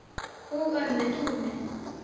og ömmu Dúnu.